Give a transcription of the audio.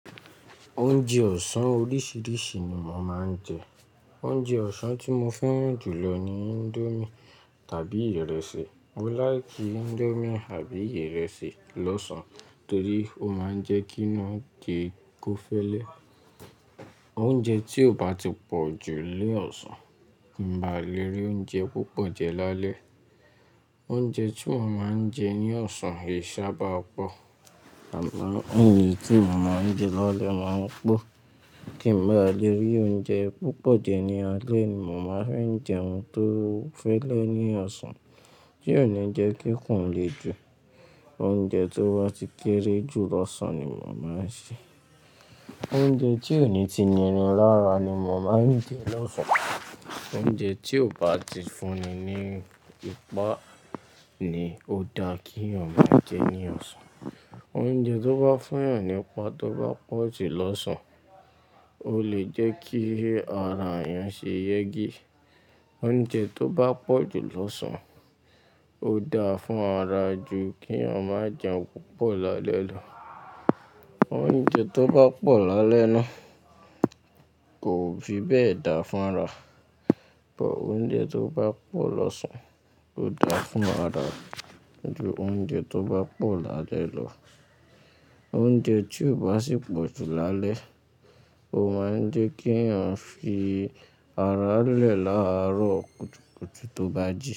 Oúnjẹ ọ̀sán oríṣiríṣi ni mo máa ń jẹ. Oúnjẹ ọ̀sán tí mo fẹ́ràn jù lọ ni índómì tàbí ìrẹsì. Mo like índómì àbí ìrẹsì lọ́sàn torí ó máa ń jẹ́ kí inú se kó fẹ́lẹ́. Oúnjẹ tí ó bá ti pọ̀ jù ní ọ̀sán, kín bá lèrí oúnjẹ púpọ̀ jẹ lálẹ́. Oúnjẹ tí mo máa ń jẹ ní ọ̀sán e sábà pọ̀. Àmọ́, èyí tí mo máa ń jẹ lálẹ́ máa ń pọ̀ kí n bá léru oúnjẹ púpọ̀ jẹ ní alẹ́ ni mo máa fẹ́ jẹ ohun tó fẹ́lẹ́ ní ọ̀sán tí yóò ní jẹ́ kí ikù lè ju oúnjẹ tó wá ti kéré jù lọ́sàn-án ni mo máa ń jẹ. Oúnjẹ tí òní ti nìrin lára ni mo máa ń jẹ lọ́sàn-án. Oúnjẹ tí ó bá ti fúnni ní ipá ni ó da kí ènìyàn má jẹ́ ní ọ̀sán. Oúnjẹ tó bá fúnyàn ní ipá tó bá pọ̀ jù lọ́sàn-án, ó lè jẹ́ kí ara èèyàn ṣe yẹ́ gé. Oúnjẹ tó bá pọ̀ jù lọ́sàn-án, ó da fún ara jù kí ọmọ jẹun púpọ̀ lálẹ́ lọ. Oúnjẹ tó bá pọ̀ lálẹ́ náà kò fi bẹ́ẹ̀ da fún ara. Ọ̀pọ̀ oúnjẹ tó bá pọ̀ lọ́sàn-án, ó da fún ara ju oúnjẹ tó bá pọ̀ lálẹ́ lọ. Oúnjẹ tí ó bá sì pọ̀ jù lálẹ́, ó máa ń jẹ́ kí èèyàn fi ara lẹ̀ láàárọ̀ kùtùkùtù tó bá jí.